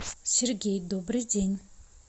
сергей добрый день